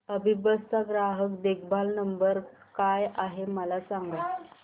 अभिबस चा ग्राहक देखभाल नंबर काय आहे मला सांगाना